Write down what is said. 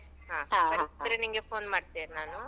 ಬರುದಾದ್ರೆ. ನಿಂಗೆ phone ಮಾಡ್ತೇನ್ ನಾನು.